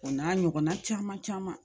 O n'a ɲɔgɔnna caman caman